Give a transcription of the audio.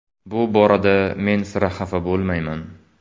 Bu borada men sira xafa bo‘lmayman.